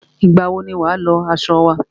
Ìgbà wọ ni wà á lọ aṣọ wa?